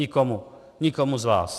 Nikomu, nikomu z vás.